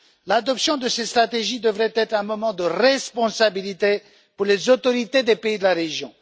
L'adoption de ces stratégies devait être un moment de responsabilité pour les autorités des pays de la région.